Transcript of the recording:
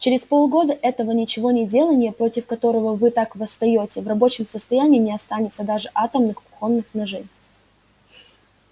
через полгода этого ничегонеделания против которого вы так восстаёте в рабочем состоянии не останется даже атомных кухонных ножей